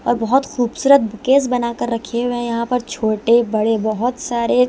और बहुत खूबसूरत बुकेस बनाकर रखे हुए हैं यहां पर छोटे-बड़े बहुत सारे--